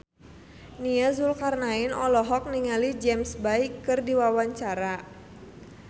Nia Zulkarnaen olohok ningali James Bay keur diwawancara